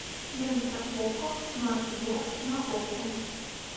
лента окко смарт бокс на окко